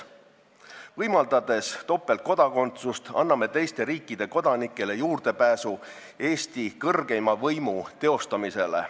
Võimaldades topeltkodakondsust, anname teiste riikide kodanikele juurdepääsu Eesti kõrgeima võimu teostamisele.